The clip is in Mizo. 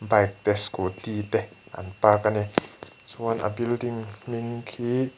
bike te scooty te an park a ni chuan a building hming khi--